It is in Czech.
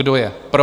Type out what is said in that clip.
Kdo je pro?